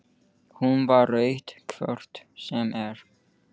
Hún var með rautt hvort sem er.